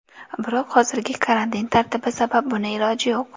Biroq hozirgi karantin tartibi sabab buni iloji yo‘q.